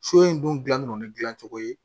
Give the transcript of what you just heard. So in dun gilan no ni gilancogo ye